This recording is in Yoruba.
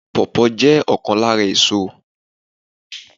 Pawpaw jẹ́ ọ̀kan lára èso